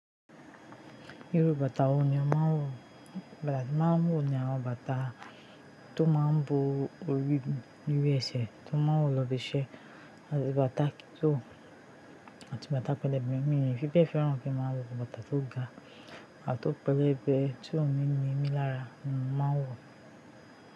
Irú bàtà wo ni o máa ń wò? Bàtà tí mo máa ń wò ni àwọn bàtà tó máa ń bo orí de ẹsẹ̀ tó máa ń wò lóbi ṣẹ́, àti bàtà tó, àti bàtà pẹlẹbẹ mí fibe. Fẹ́ràn kí a máa wọ bàtà tó ga àti ó pẹlẹbẹ tí ó ń ni ni mí lára ni máa ń wò.